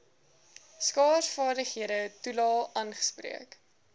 skaarsvaardighede toelae aangespreek